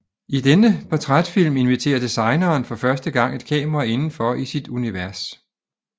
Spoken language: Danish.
I denne portrætfilm inviterer designeren for første gang et kamera inden for i sit univers